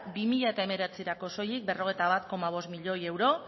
bi mila hemeretzirako soilik berrogeita bat koma bost miloi euro